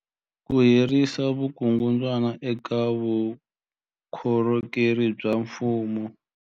Ku herisa vukungundwani eka vukorhokeri bya mfumo.